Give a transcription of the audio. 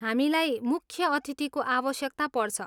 हामीलाई मुख्य अतिथिको आवश्यकता पर्छ।